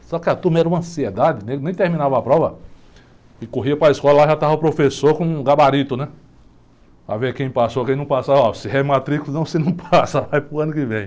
Só que a turma era uma ansiedade, nem terminava a prova, e corria para a escola, lá já estava o professor com o gabarito, né, para ver quem passou, quem não passou, ó, se rematrícula se não você não passa, não vai para o ano que vem.